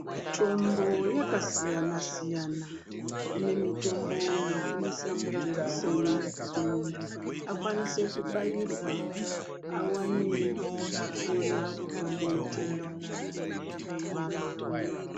Mitombo yakasiyana siyana kune mitombo yekuisa mujekiseni kuti muntu akwanise kubatirwa awane kupona kubva muutenda waanenge anawo.